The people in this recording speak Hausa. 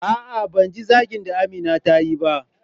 A'a ban ji zagin da Amina tayi ba.